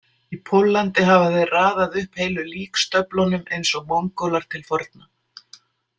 Í Póllandi hafa þeir raðað upp heilu líkstöflunum, eins og Mongólar til forna